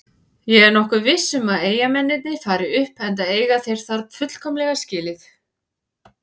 Ég er nokkuð viss um að Eyjamennirnir fari upp enda eiga þeir það fullkomlega skilið.